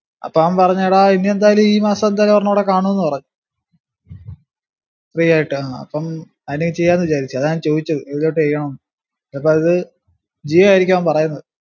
അപ്പം അവൻ പറഞ്‍ എടാ ഇനിഎന്തായാലും ഈ മാസം ഇനി എന്തായാലും ഒരെണ്ണം കൂടെ കാണുന്ന് പറഞ്ഞു free ആയിട്ട് ആ അപ്പം ആയിന് ചെയ്യാന്ന് വിചാരിക്കാ അതാ ഞാൻ ചോയ്ച്ചത് ഏതിലോട്ട് ചെയ്യണോന്ന് എപ്പോ അത് ജിയോ ആയിരിക്കും അവൻ പറയണത്